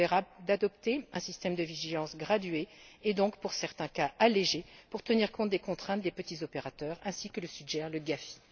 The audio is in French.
Il serait donc, selon moi, préférable d'adopter un système de vigilance gradué et donc, pour certains cas, allégé pour tenir compte des contraintes des petits opérateurs, ainsi que le suggère le GAFI.